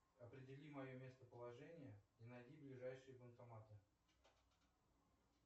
определи мое местоположение и найди ближайшие банкоматы